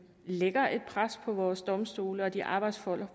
lægger et pres på vores domstole og de arbejdsforhold